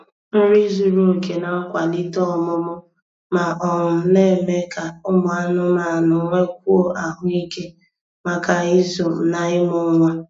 Nri zuru oke na-akwalite ọmụmụ, ma um na-eme ka ụmụ anụmanụ nwekwuo ahụike maka ịzụ na ịmụ nwa